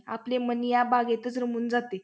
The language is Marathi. आपले मन या बागेतच रमून जाते.